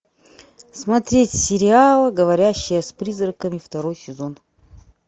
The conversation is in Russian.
смотреть сериал говорящая с призраками второй сезон